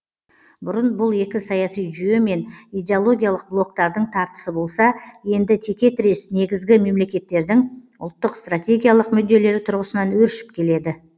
бұрын бұл екі саяси жүйе мен идеологиялық блоктардың тартысы болса енді теке тірес негізгі мемлекеттердің ұлттық стратегиялық мүдделері тұрғысынан өршіп келеді